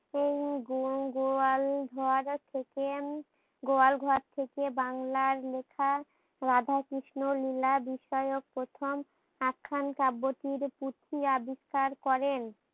এই গো গোয়াল ঘর থেকে উম গোয়াল ঘর থেকে বাংলার লেখা রাধা কৃষ্ণ লীলা বিষয়ক প্রথম আখ্যান পার্বতীর পুথি আবিষ্কার করেন।